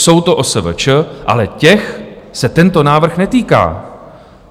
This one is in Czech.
Jsou to OSVČ, ale těch se tento návrh netýká.